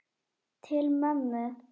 Til mömmu.